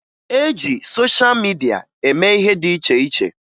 E ji sosha midia eme ihe dị iche iche